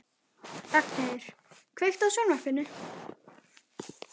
Ragnheiður, kveiktu á sjónvarpinu.